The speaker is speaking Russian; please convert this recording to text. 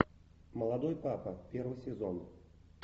молодой папа первый сезон